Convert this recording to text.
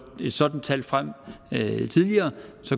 sådant tal frem tidligere